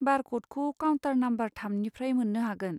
बार क'डखौ counter number थामनिफ्राय मोन्नो हागोन।